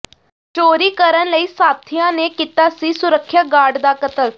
ਚੋਰੀ ਕਰਨ ਲਈ ਸਾਥੀਆਂ ਨੇ ਕੀਤਾ ਸੀ ਸੁਰੱਖਿਆ ਗਾਰਡ ਦਾ ਕਤਲ